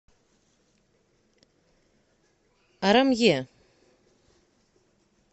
арамье